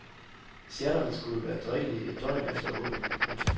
Sjatterne skulle være drikkelige et døgn efter åbning. punktum